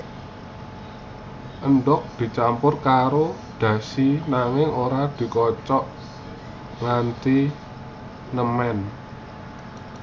Endhog dicampur karo dashi nanging ora dikocok nganti nemen